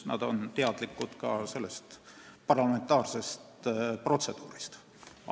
Nad on meie parlamentaarsest protseduurist teadlikud.